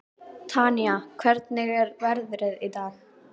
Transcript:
Tanía, hvernig er veðrið í dag?